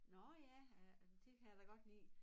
Nå ja øh det kan jeg da godt lide